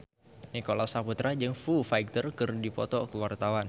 Nicholas Saputra jeung Foo Fighter keur dipoto ku wartawan